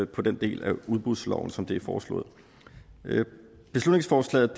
på den del af udbudsloven som det er foreslået beslutningsforslaget